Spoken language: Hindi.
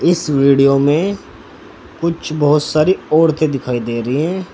इस वीडियो में कुछ बहुत सारी औरते दिखाई दे रही है।